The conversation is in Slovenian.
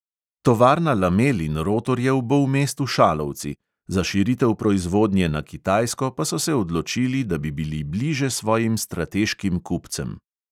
Tovarna lamel in rotorjev bo v mestu šalovci, za širitev proizvodnje na kitajsko pa so se odločili, da bi bili bliže svojim strateškim kupcem.